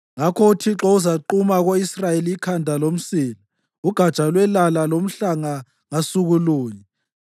Ngakho uThixo uzaquma ko-Israyeli ikhanda lomsila, ugatsha lwelala lomhlanga ngasuku lunye;